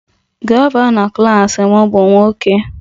Gọvanọ klas m bụ nwoke